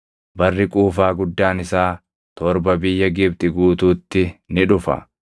Barri quufaa guddaan isaa torba biyya Gibxi guutuutti ni dhufa;